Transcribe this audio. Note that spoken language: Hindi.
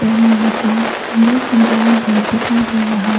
यहां में मुझे सुंदर सा बड़ा गेट दिखाई दे रहा है।